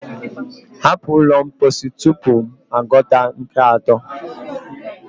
hapụ ụlọ mposi tupu m agụta nke atọ!